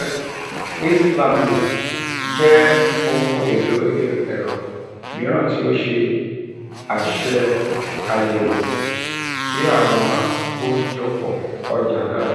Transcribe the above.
islamly jẹ ohun elo ero miiran ti o ṣe ase-ayewo halal ti awọn akojopo oja daradara.